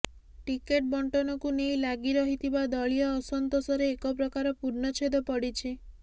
ticket ବଣ୍ଟନକୁ ନେଇ ଲାଗିରହିଥିବା ଦଳୀୟ ଅସନ୍ତୋଷରେ ଏକପ୍ରକାର ପୂର୍ଣ୍ଣଚ୍ଛେଦ ପଡ଼ିଛି